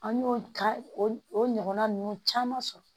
An y'o ka o ɲɔgɔnna ninnu caman sɔrɔ